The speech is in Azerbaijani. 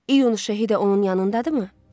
İyun Şəhid də onun yanındadırmı?